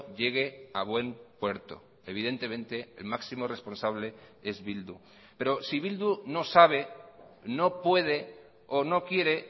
llegue a buen puerto evidentemente el máximo responsable es bildu pero si bildu no sabe no puede o no quiere